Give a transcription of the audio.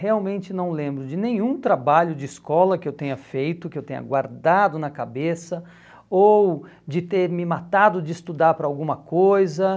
Realmente não lembro de nenhum trabalho de escola que eu tenha feito, que eu tenha guardado na cabeça, ou de ter me matado de estudar para alguma coisa.